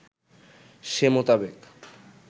সে মোতাবেক